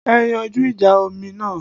Ẹ yanjú ìjà omi náà